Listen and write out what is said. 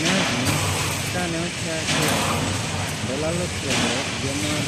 Nazi ka neochak logi kendo lalo telo higa mar